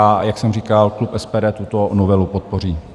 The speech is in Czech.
A jak jsem říkal, klub SPD tuto novelu podpoří.